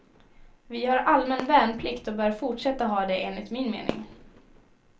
Vi har allmän värnplikt och bör fortsätta ha det enligt min mening.